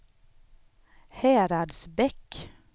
Häradsbäck